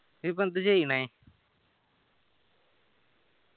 ഇയ്യ്‌ ഇപ്പൊ എന്ത് ചെയ്യണെ